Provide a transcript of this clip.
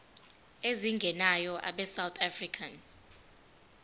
ezingenayo abesouth african